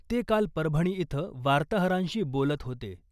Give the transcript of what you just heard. ते काल परभणी इथं वार्ताहरांशी बोलत होते .